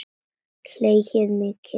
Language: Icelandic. Hlegið mikið.